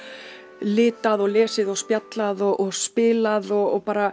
litað og lesið og spjallað og spilað og bara